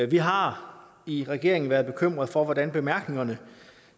vi har i regeringen været bekymrede for hvordan bemærkningerne